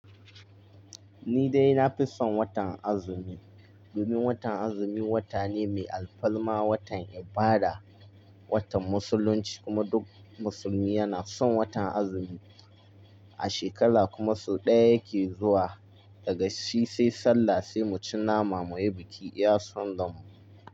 Ni dai na fi son watan azumi, domin watan azumi wata ne mai alfarma, watan ibada, watan musulunci kuma duk musulmi yana son watan azumi. A shekara kuma sau ɗaya yake zuwa, daga shi sai sallah sai mu ci nama mu yi biki iya son ran mu.